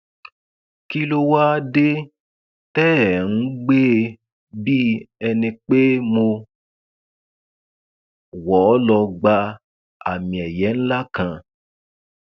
kí ló wáá dé tẹ ẹ ń gbé e bíi ẹni pé mo wọ ọ lọọ gba àmiẹyẹ ńlá kan